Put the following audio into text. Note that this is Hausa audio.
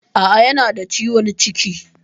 A'a, yana da ciwon ciki.